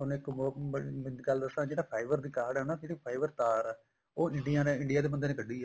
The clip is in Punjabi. ਉਹਨੇ ਇੱਕ ਹੋਰ ਮਿਡ ਗੱਲ ਦੱਸਾਂ ਜਿਹੜਾ fiber ਦਾ guard ਆ ਨੇ ਜਿਹੜੀ fiber ਤਾਰ ਏ ਉਹ India ਨੇ India ਦੇ ਬੰਦੇ ਨੇ ਕੱਡੀ ਏ